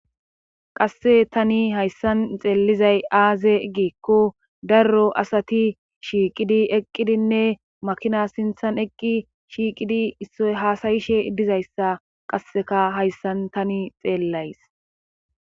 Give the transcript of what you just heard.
Qasse tani hayssan xeellizay aaze egiekko darro asati shiiqidi eqqidinne makina sinthan eqqi shiiqidi issoy haasayishe dizayssa qasseka hayssan tani xeellays